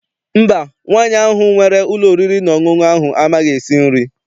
Mba, nwaanyị ahụ nwere ụlọ oriri na ọṅụṅụ ahụ amaghị esi nri.